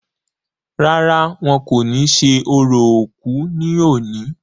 rárá, wọn kò ní ṣe orò òkú ní òní